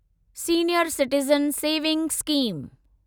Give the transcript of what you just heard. senior citizen saving scheme